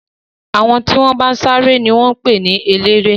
Àwọn tí wọ́n bá ń sáré ni wọ́n ń pè ní eléré.